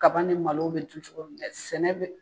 Kaban ni malo bɛ du cogo min na sɛnɛ bɛ